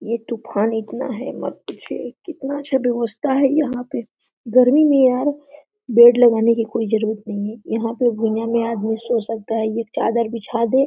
ये टुफान इतना है मत पूछिए कितना अच्छा बेवस्था है यहाँ पे गर्मी में यार बेड लगाने की कोई जरुरत नहीं है यहाँ पे भुइँया में आदमी सो सकता है एक चादर बिछा दो --